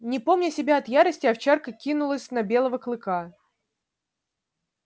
не помня себя от ярости овчарка кинулась на белого клыка